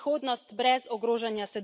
In kaj si želimo vse generacije?